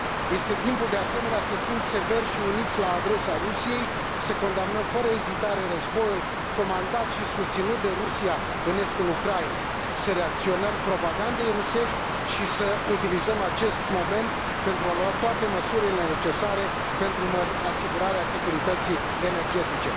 Este timpul, de asemenea, să fim severi și uniți la adresa Rusiei, să condamnăm fără ezitare războiul comandat și susținut de Rusia în estul Ucrainei, să reacționăm la propaganda rusească și să utilizăm acest moment pentru a lua toate măsurile necesare pentru asigurarea securității energetice.